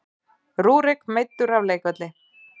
Rúrik meiddur af leikvelli